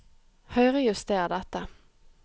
Høyrejuster dette